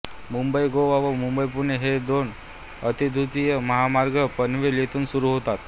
मुंबईगोवा व मुंबईपुणे हे दोन अतिद्रुतगती महामार्ग पनवेल येथून सुरू होतात